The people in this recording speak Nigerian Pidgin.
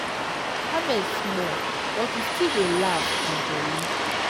harvest small but we still dey laugh and jolly